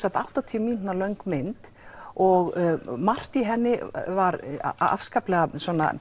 áttatíu mínútna mynd og margt í henni var afskaplega